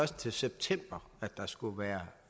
til september at der skulle være